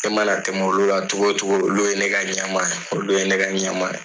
Ne mana tɛmɛ olu la cogo o cogo, olu ye ne ka ɲamaa ye, olu ye ne ka ɲamaa ye.